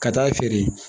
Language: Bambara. Ka taa feere